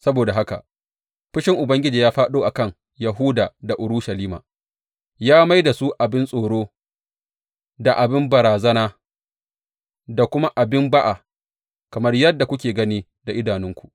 Saboda haka, fushin Ubangiji ya fāɗo a kan Yahuda da Urushalima; ya mai da su abin tsoro da abin banrazana da kuma abin ba’a, kamar yadda kuke gani da idanunku.